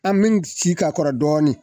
An bɛ sigi ka kɔrɔ dɔɔni